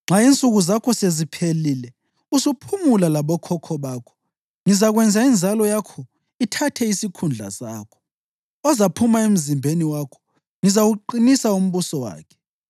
Nxa insuku zakho seziphelile usuphumula labokhokho bakho, ngizakwenza inzalo yakho ithathe isikhundla sakho, ozaphuma emzimbeni wakho, ngizawuqinisa umbuso wakhe.